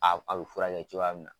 A be furakɛ cogoya min na